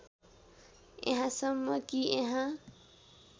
यहाँसम्म कि यहाँ